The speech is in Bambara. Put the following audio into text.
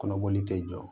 Kɔnɔboli tɛ jɔ